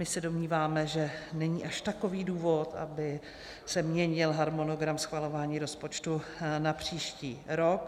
My se domníváme, že není až takový důvod, aby se měnil harmonogram schvalování rozpočtu na příští rok.